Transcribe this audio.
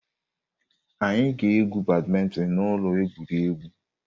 Anyị ga-egwu badmintin na ụlọ egwuregwu.